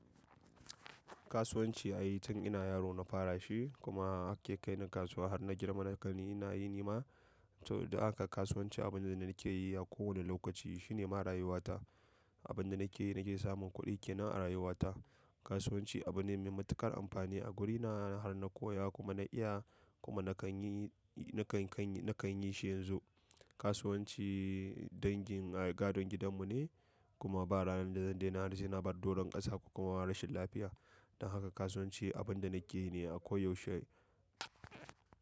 Kasuwanci ai tun ina yaro na fara shi kuma ake kai ni kasuwa har na girma. Saboda haka ni ina yini ma, don haka kasuwanci abu ne da nakeyi a koda yaushe shine na rayuwata abin da nake yi, nake samun kuɗi ke nan a rayuwa ta. Kasuwanci abu ne mai matuƙar amfani a wurina har na koya kuma na iya kuma na kan yi, na kan, na kan yi shi yanzu. Kasuwanci dangi gadon gidan mu ne kuma ba ranar da zan daina har sai na bar doron ƙasa ko rashin lafiya don haka kasuwanci abinda nake yine a koyaushe.